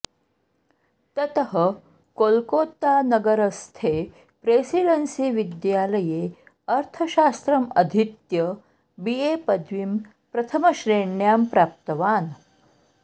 ततः कोल्कोतानगरस्थे प्रेसिडेन्सिविद्यालये अर्थशास्त्रम् अधीत्य बि ए पदवीं प्रथमश्रेण्यां प्राप्तवान्